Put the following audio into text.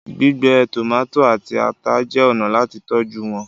gbígbẹ tomati àti atá jé ọnà láti tọjú wón.